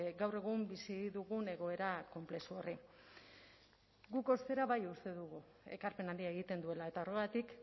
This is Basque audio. gaur egun bizi dugun egoera konplexu horri guk ostera bai uste dugu ekarpen handia egiten duela eta horregatik